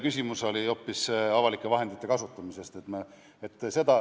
Küsimus oli hoopis avalike vahendite kasutamise kohta.